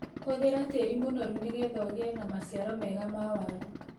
Hũthĩra tĩĩri mũnoru nĩgetha ũgĩe na maciaro mega ma waru.